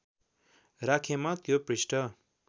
राखेमा त्यो पृष्ठ